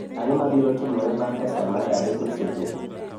Ang'o mabiro timore bang ' ka sa mar adek osechopo?